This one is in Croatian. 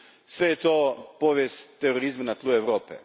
Sve je to povijest terorizma na tlu Europe.